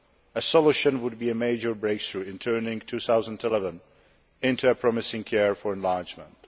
A solution would be a major breakthrough in turning 2011 into a promising year for enlargement.